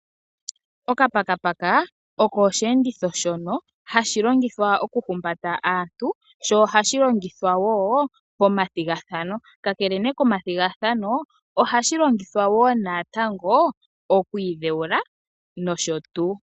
Okapakapaka oko oshi enditho shoka hashi longithwa oku humbata aantu sho ohashi longithwa wo pomathigathano. Ka kele komathigathano ohaka longithwa wo natango oku idhe wula nosho tu.